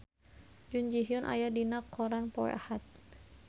Jun Ji Hyun aya dina koran poe Ahad